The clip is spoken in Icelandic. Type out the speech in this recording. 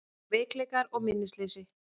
Veikleikar og minnisleysi